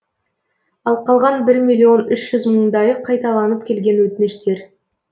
ал қалған бір миллион үш жүз мыңдайы қайталанып келген өтініштер